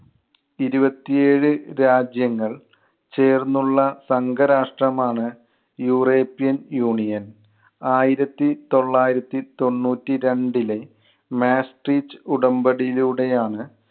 ഇരുപത്തി ഏഴ് രാജ്യങ്ങൾ ചേർന്നുള്ള സംഘരാഷ്ട്രമാണ് യൂറോപ്യൻ യൂണിയൻ. ആയിരത്തി തൊള്ളായിരത്തി തൊണ്ണൂറ്റി രണ്ടിലെ Maastricht ഉടമ്പടിയിലൂടെയാണ്